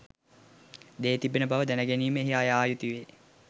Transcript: දේ තිබෙනා බව දැනගැනීමට එහි යායුතුවේ.